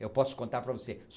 Eu posso contar para você.